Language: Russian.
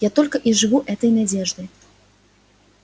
я только и живу этой надеждой